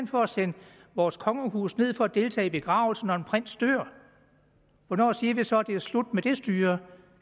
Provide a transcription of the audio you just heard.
for at sende vores kongehus ned for at deltage i begravelsen når en prins dør hvornår siger vi så at det er slut med det styre